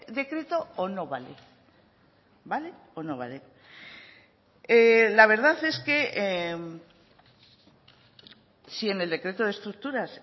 decreto o no vale vale o no vale la verdad es que si en el decreto de estructuras